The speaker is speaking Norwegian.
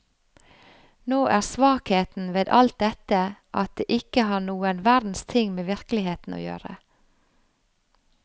Nå er svakheten ved alt dette at det ikke har noen verdens ting med virkeligheten å gjøre.